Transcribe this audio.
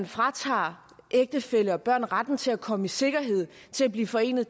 fratager ægtefæller og børn retten til at komme i sikkerhed til at blive forenet